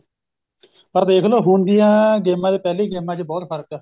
ਪਰ ਦੇਖਲੋ ਹੁਣ ਦੀਆਂ ਗੇਮਾਂ ਚ ਤੇ ਪਹਿਲੀ ਗੇਮਾਂ ਚ ਬਹੁਤ ਫਰਕ ਏ